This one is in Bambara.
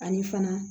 Ani fana